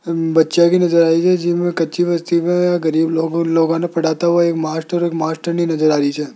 हम बच्चा भी नज़र आ रही है गरीब लोग लोग न पढ़ाता हुआ एक मास्टर और मास्टरनी नजर आ री च --